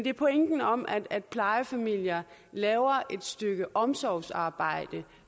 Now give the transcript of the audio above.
er pointen om at plejefamilier laver et stykke omsorgsarbejde